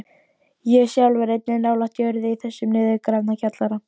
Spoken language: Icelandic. Ég sjálf er einnig nálægt jörðu í þessum niðurgrafna kjallara.